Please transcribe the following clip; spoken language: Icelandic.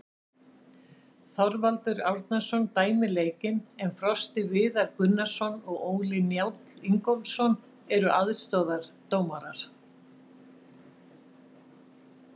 Þorvaldur Árnason dæmir leikinn en Frosti Viðar Gunnarsson og Óli Njáll Ingólfsson eru aðstoðardómarar.